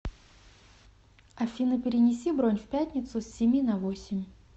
афина перенеси бронь в пятницу с семи на восемь